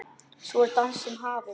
Svo var dansinn hafinn.